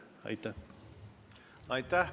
Aitäh!